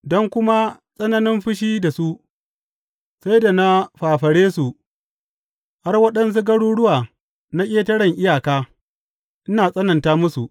Don kuma tsananin fushi da su, sai da na fafare su har waɗansu garuruwa na ƙetaren iyaka, ina tsananta musu.